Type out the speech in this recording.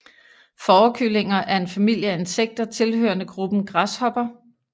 Fårekyllinger er en familie af insekter tilhørende gruppen græshopper